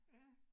Ja